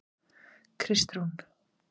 Kristrún